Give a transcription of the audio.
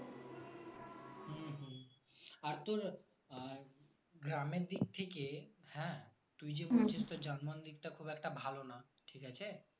আর তোর আর গ্রামের দিক থেকে হ্যাঁ তুই যে বলছিস যে যানবাহন দিক টা খুব একটা ভালো না ঠিক আছে